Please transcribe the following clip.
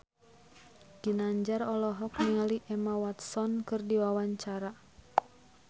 Ginanjar olohok ningali Emma Watson keur diwawancara